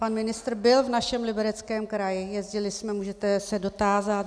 Pan ministr byl v našem Libereckém kraji, jezdili jsme, můžete se dotázat.